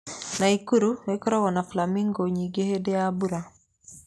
Naikuru ĩkoragwo na flamingo nyingĩ hĩndĩ ya mbura.